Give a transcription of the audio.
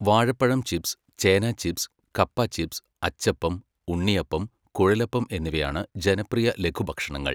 വാഴപ്പഴം ചിപ്സ്, ചേന ചിപ്സ്, കപ്പ ചിപ്സ്, അച്ചപ്പം, ഉണ്ണിയപ്പം, കുഴലപ്പം എന്നിവയാണ് ജനപ്രിയ ലഘുഭക്ഷണങ്ങൾ.